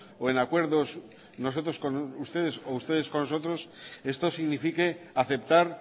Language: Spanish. o en acuerdos nosotros con ustedes o ustedes con nosotros esto signifique aceptar